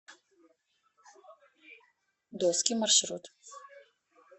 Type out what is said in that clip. доски маршрут